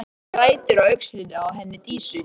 Hann grætur á öxlinni á henni Dísu.